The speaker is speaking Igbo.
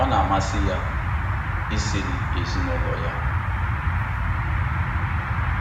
Ọ na-amasị ya isiri ezinụlọ ya